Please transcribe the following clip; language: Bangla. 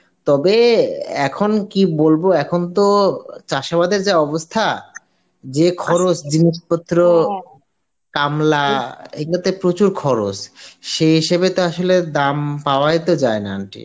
তবে এখন কি বলব এখন তো চাসেবাদের যা অবস্থা যে খরচ জিনিস পত্রর কামলা এইগুলো তে প্রচুর খরচ সেই হিসেবে তো আসলে দাম পাওয়াই তো জানা aunty